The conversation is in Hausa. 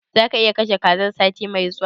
Zaka iya kashe kazan sati mai zuwa?